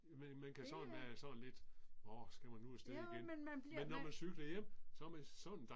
Det øh. Jo men man bliver